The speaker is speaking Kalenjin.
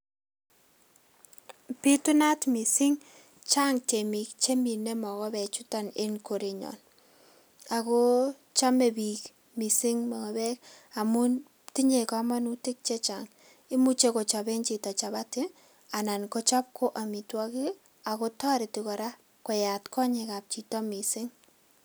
Bitunat mising, chang tyemik che mine mokobechuton eng korenyon. Ako chame biik mising mokobek amun tinye kamanutik che chang. Imuche kiochaben chito chapati anan ko chap ko amitwokik aku toreti kora koyat konyekab chito mising.